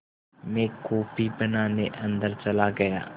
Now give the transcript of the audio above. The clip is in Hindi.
मैं कॉफ़ी बनाने अन्दर चला गया